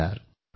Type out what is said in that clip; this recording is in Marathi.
नमस्कार